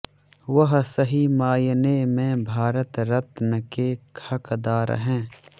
वह सही मायने में भारत रत्न के हकदार हैं